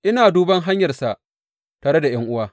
Ina duban hanyarsa tare da ’yan’uwa.